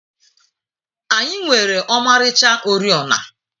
Anyị nwere ọmarịcha oriọna.